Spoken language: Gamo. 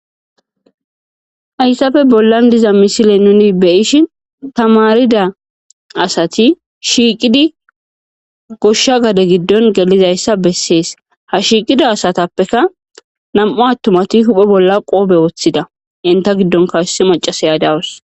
Hayssafe bollan diza misile nuni beyish tamarida asati shiiqidi goshsha gade giddon gelizayssa bessees ha shiiqida asatappeka nam.u attumati huphe bolla qoobe woththida inta giddonkawhyssi macasa yadawus.